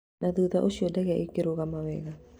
Na thutha ũcio ndege ĩkrugama wega